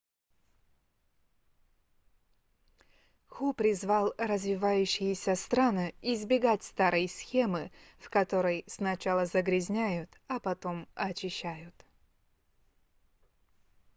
ху призывал развивающиеся страны избегать старой схемы в которой сначала загрязняют а потом очищают